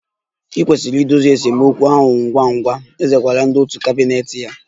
I kwesịrị idozi esemokwu ahụ ngwa ngwa, eze gwara ndị òtù kabinet ya